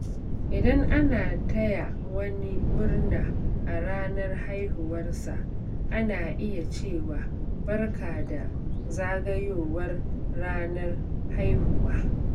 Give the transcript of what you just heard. Idan ana taya wani murna a ranar haihuwarsa, ana iya cewa "Barka da zagayowar ranar haihuwa."